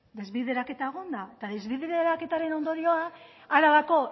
desbideraketa egon da eta desbideraketaren ondorioa arabako